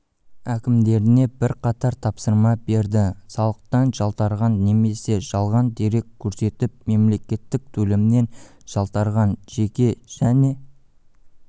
әкімдеріне бірқатар тапсырма берді салықтан жалтарған немесе жалған дерек көрсетіп мемлекеттік төлемнен жалтарған жеке және